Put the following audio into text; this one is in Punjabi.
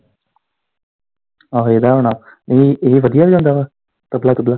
ਆਹੋ ਏਦਾ ਹੀ ਹੁਣਾ ਇਹ, ਇਹ ਵਧੀਆ ਵਜਾਉਂਦਾ ਵਾ ਤਬਲਾ ਤੁਬਲਾ।